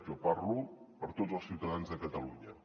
jo parlo per tots els ciutadans de catalunya